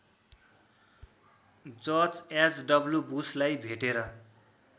George H W बुशलाई भेटेर